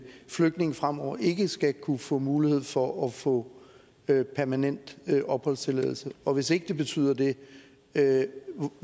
flygtninge fremover ikke skal kunne få mulighed for at få permanent opholdstilladelse og hvis ikke det betyder det det